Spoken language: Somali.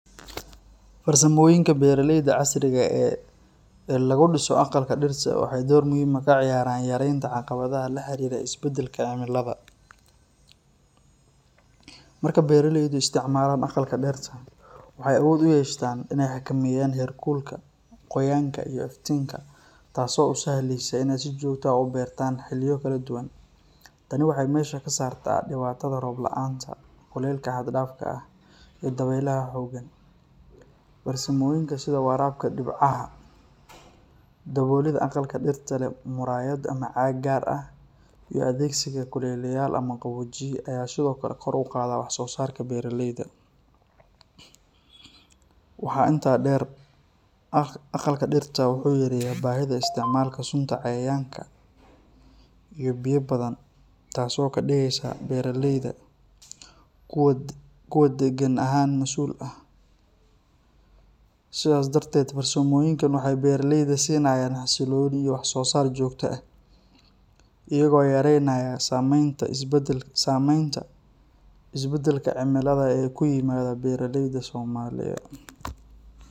Farsamoyinka beeraleyda casriga ah ee lagu dhiso aqalka dirta waxay door muhiim ah ka ciyaaraan yaraynta caqabadaha la xiriira isbeddelka cimilada. Marka beeraleydu isticmaalaan aqalka dirta, waxay awood u yeeshaan in ay xakameeyaan heerkulka, qoyaanka, iyo iftiinka, taasoo u sahlaysa in ay si joogto ah u beertaan xilliyo kala duwan. Tani waxay meesha ka saartaa dhibaatada roob la’aanta, kulaylka xad-dhaafka ah, iyo dabeylaha xooggan. Farsamooyinka sida waraabka dhibcaha, daboolida aqalka dirta leh muraayad ama caag gaar ah, iyo adeegsiga kuleeliyayaal ama qaboojiye ayaa sidoo kale kor u qaada wax-soo-saarka beeraleyda. Waxaa intaa dheer, aqalka dirta wuxuu yareeyaa baahida isticmaalka sunta cayayaanka iyo biyaha badan, taasoo ka dhigaysa beeraleyda kuwo deegaan ahaan mas'uul ah. Sidaas darteed, farsamoyinkan waxay beeraleyda siinayaan xasilooni iyo wax-soo-saar joogto ah, iyaga oo yareynaya saamaynta isbeddelka cimilada ee ku yimaada beeraleyda Soomaaliye